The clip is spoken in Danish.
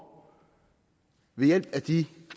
ved hjælp af de